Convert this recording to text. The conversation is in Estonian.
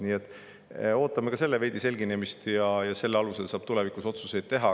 Nii et ootame ka selle pildi selginemist, selle alusel saab tulevikus otsuseid teha.